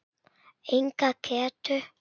Enga getu.